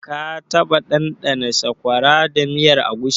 Ka taɓa ɗanɗana Sakwara da miyar agushi?